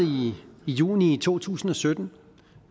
i juni to tusind og sytten